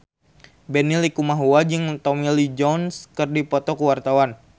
Benny Likumahua jeung Tommy Lee Jones keur dipoto ku wartawan